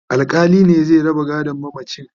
alkali ne zai raba gadon mamacin